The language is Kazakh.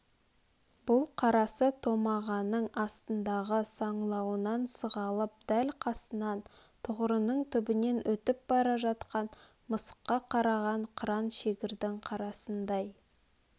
бұл қарасы томағаның астындағы саңлауынан сығалап дәл қасынан тұғырының түбнен өтіп бара жатқан мысыққа қараған қыран шегірдің қарасындай